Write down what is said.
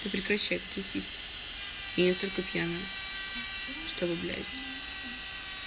ты прекращай какие сиськи я не настолько пьяная чтобы блять